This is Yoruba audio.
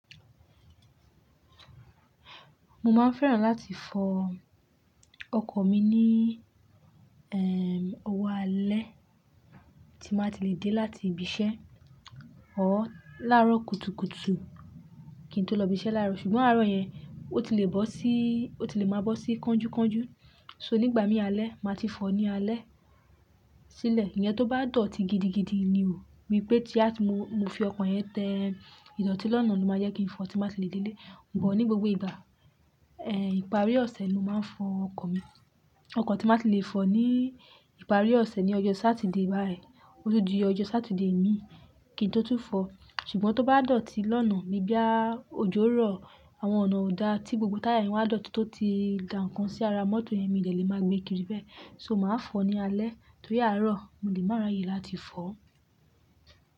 Mo máa ń fẹ́ràn láti fọ ọkọ̀ mi ní, ẹ́ẹ́, ọwọ́ alẹ́ tí máà ti lè dé láti ibi iṣẹ́. Ọ̀ láarọ̀ kùtùkùtù kí n tó lọ ibi iṣẹ́ láàárọ̀, ṣùgbọ́n àárọ̀ yẹn ó ti lè bọ́ sí, ó ti lè máa bọ́ sí kánjúkánjú. So nígbà mí alẹ́, màá ti fọ̀ ọ́ ní alẹ́ sílẹ̀. Ìyẹn tó bá dọ̀tí gidigidi ni o, bí i pé tí a sì mú, mo fi ọkọ̀ yẹn tẹ idọ̀tí lọ́nà ló máa jẹ́ kí n fọ̀ tí máà ti lè dé ilé. Bọ̀ ní gbogbo ìgbà, ẹ́, ìparí ọ̀sẹ̀ ni mo máa ń fọ ọkọ̀ mi. Ọkọ̀ tí mbá ti lè fọ̀ ní ìparí ọ̀sẹ̀ ni ọjọ́ Sátidé báyìí, ó tún dí ọjọ́ Sátidé mi kí n tó tún fọ̀ ọ́. Ṣùgbọ́n tó bá dọ̀tí lọ́nà níbí á òjó rọ̀, àwọn ọ̀nà ò dá tí gbogbo táyà wọn á dọ̀tí tó ti ga nǹkan sí ara mọ́tò yẹn, mi lẹ̀ lè máa gbé kiri bẹ́ẹ̀. So màá fọ̀ ọ́n ní alẹ́ torí àárọ̀ mi ò lè mára ye láti fọ̀ ọ́.